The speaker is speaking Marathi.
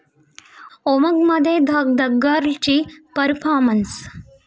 उमंग'मध्ये 'धकधक गर्ल'ची परफॉमर्न्स